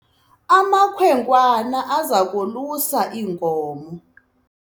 amakhwenkwana aza kuzalusa iinkomo